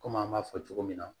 Kɔmi an b'a fɔ cogo min na